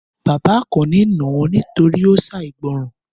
Bàbá Àkànní nà á nítorí ó ṣàìgbọràn.